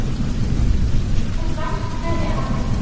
Okkar ástkæri afi.